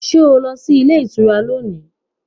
Are you going to the hotel today